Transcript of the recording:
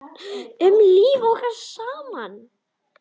Um líf okkar saman.